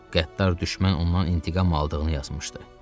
Qəddar düşmən ondan intiqam aldığını yazmışdı.